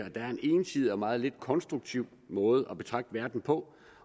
at det er en ensidig og meget lidt konstruktiv måde at betragte verden på